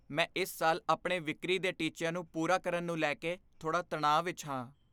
ਮੈਂ ਇਸ ਸਾਲ ਆਪਣੇ ਵਿਕਰੀ ਦੇ ਟੀਚਿਆਂ ਨੂੰ ਪੂਰਾ ਕਰਨ ਨੂੰ ਲੈ ਕੇ ਥੋੜ੍ਹਾ ਤਣਾਅ ਵਿੱਚ ਹਾਂ।